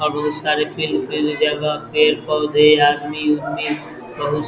और बहुत सारे जगह पेड़-पौधे आदमी-उदामि बहुत--